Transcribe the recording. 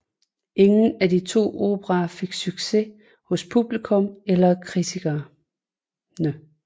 Ingen af de to operaer fik succes hos publikum eller kritikerne